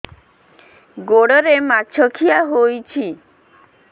ଗୋଡ଼ରେ ମାଛଆଖି ହୋଇଛି